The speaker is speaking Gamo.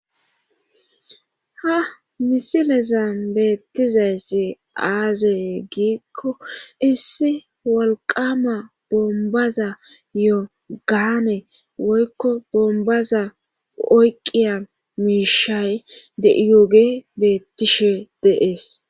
ha misilezan beettizayssi aazee giikko issi walqama bombaza yo-gaane woykko bombaza oyqqiya miishay deiyoge beettishe deees